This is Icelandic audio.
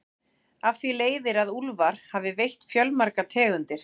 Af því leiðir að úlfar hafa veitt fjölmargar tegundir.